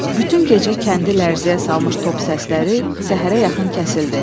Bütün gecə kəndi lərzəyə salmış top səsləri səhərə yaxın kəsildi.